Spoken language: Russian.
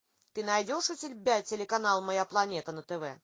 ты найдешь у себя телеканал моя планета на тв